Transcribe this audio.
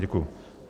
Děkuju.